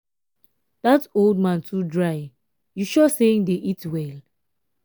dat old man too dry you sure say he dey eat well?